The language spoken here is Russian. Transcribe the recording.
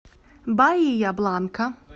баия бланка